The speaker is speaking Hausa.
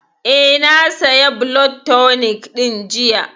Eh, na saya blood tonic ɗin jiya